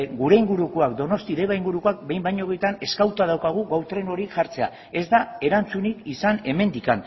gure ingurukoak deba ingurukoak behin baino gehiagotan eskatuta daukagu gau tren hori jartzea ez da erantzunik izan hemendik